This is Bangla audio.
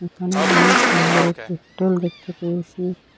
এখানে অনেক সুন্দর একটি হোটেল দেখতে পেয়েছি।